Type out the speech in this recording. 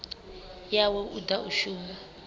yawe u ḓa u shuma